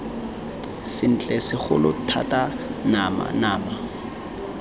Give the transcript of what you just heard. sentle segolo thata nama nama